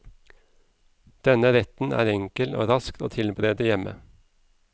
Denne retten er enkel og rask å tilberede hjemme.